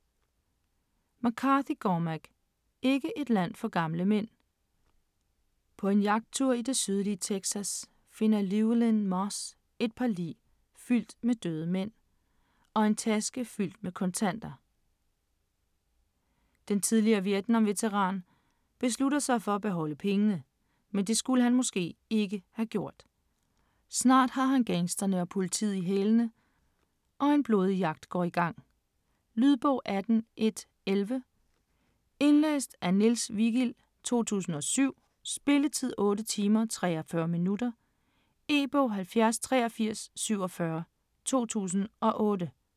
McCarthy, Cormac: Ikke et land for gamle mænd På en jagttur i det sydlige Texas finder Llewelyn Moss et par biler, fyldt med døde mænd, og en taske fyldt med kontanter. Den tidligere Vietnam-veteran, beslutter sig for at beholde pengene, men det skulle han måske ikke have gjort. Snart har han gangsterne og politiet i hælene, og en blodig jagt går i gang. Lydbog 18111 Indlæst af Niels Vigild, 2007. Spilletid: 8 timer, 43 minutter. E-bog 708347 2008.